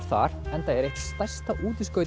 þar enda er eitt stærsta